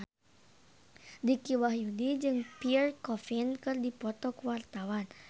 Dicky Wahyudi jeung Pierre Coffin keur dipoto ku wartawan